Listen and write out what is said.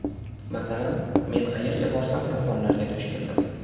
Masalan, men qayerga borsam yolg‘onga duch keldim.